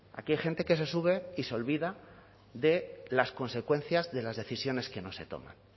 aquí hay gente que se sube y se olvida de las consecuencias de las decisiones que no se toman